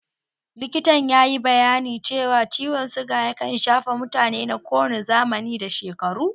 Likitan yayi bayanin cewa ciwon suga yakan shafa mutane na kowane zamani da shekaru